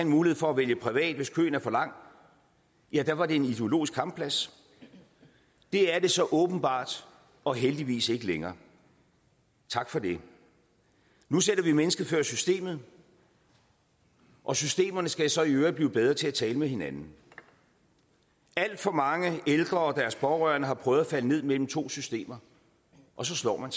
mulighed for at vælge privat hvis køen er for lang ja da var det en ideologisk kampplads det er det så åbenbart og heldigvis ikke længere tak for det nu sætter vi mennesket før systemet og systemerne skal så i øvrigt blive bedre til at tale med hinanden alt for mange ældre og deres pårørende har prøvet at falde ned mellem to systemer og så slår man